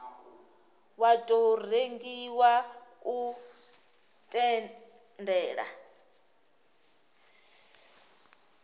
wa tou rengiwa u tendela